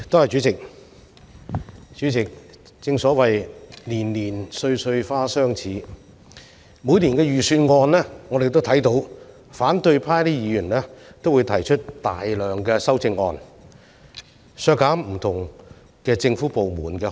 主席，正所謂"年年歲歲花相似"，在每年的財政預算案辯論中，反對派議員都提出大量修正案，要求削減不同政府部門的開支。